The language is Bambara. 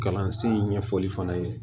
Kalansen ɲɛfɔli fana ye